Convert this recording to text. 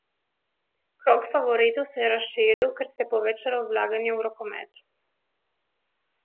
Krog favoritov se je razširil, ker se je povečalo vlaganje v rokomet.